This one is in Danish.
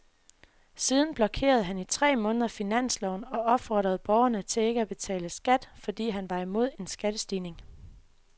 Siden blokerede han i tre måneder finansloven og opfordrede borgerne til ikke at betale skat, fordi han var imod en skattestigning.